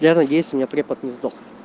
я надеюсь у меня препод не сдох